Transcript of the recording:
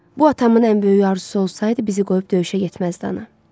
Bu atamın ən böyük arzusu olsaydı bizi qoyub döyüşə getməzdi ana.